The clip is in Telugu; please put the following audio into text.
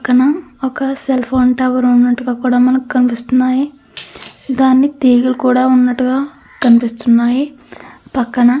పక్కన ఒక సెల్ ఫోన్ టవర్ ఉన్నట్టుగా కూడ మనకు కనిపిస్తున్నాయి దానికి తీగలు కూడా ఉన్నట్టుగా కనిపిస్తున్నాయి పక్కన.